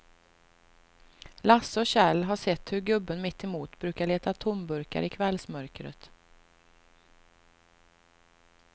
Lasse och Kjell har sett hur gubben mittemot brukar leta tomburkar i kvällsmörkret.